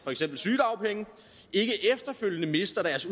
for eksempel sygedagpenge ikke efterfølgende mister deres